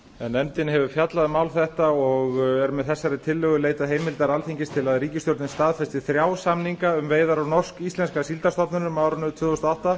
nefndin hefur fjallað um mál þetta og er með þessari tillögu leitað heimildar alþingis til að ríkisstjórnin staðfesti þrjá samninga um veiðar